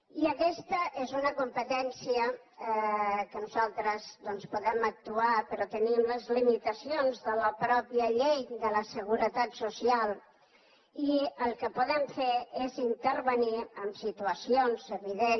i aquesta és una competència en què nosaltres doncs podem actuar però tenim les limitacions de la mateixa llei de la seguretat social i el que podem fer és intervenir en situacions evident